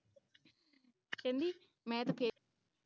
ਕਹਿੰਦੀ ਮੈਂ ਤੇ ਕਿਹਾ